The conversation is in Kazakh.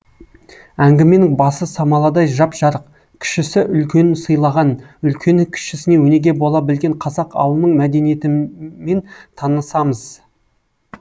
әңгіменің басы самаладай жап жарық кішісі үлкенін сыйлаған үлкені кішісіне өнеге бола білген қазақ ауылының мәдениетімен танысамыз